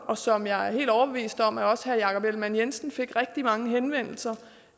og som jeg er helt overbevist om at også herre jakob ellemann jensen fik rigtig mange henvendelser